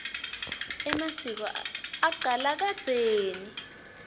emasiko acala kadzeni